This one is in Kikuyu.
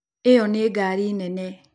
ĩyo nĩ ngaari nene.